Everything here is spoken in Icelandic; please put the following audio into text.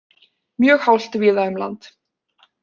Mjög hált víða um land